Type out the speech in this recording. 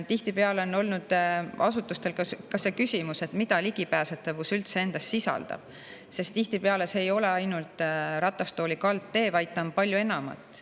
Tihtipeale on olnud asutustel ka see küsimus, mida ligipääsetavus üldse endas sisaldab, sest see ei tähenda ainult ratastooli kaldteed, vaid see on palju enamat.